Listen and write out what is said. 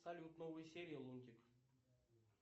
салют новые серии лунтик